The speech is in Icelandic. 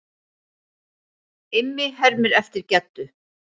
Immi hermir eftir Geddu.